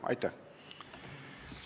Aitäh!